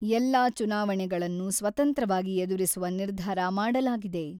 ಎಲ್ಲ ಚುನಾವಣೆಗಳನ್ನು ಸ್ವತಂತ್ರವಾಗಿ ಎದುರಿಸುವ ನಿರ್ಧಾರ ಮಾಡಲಾಗಿದೆ.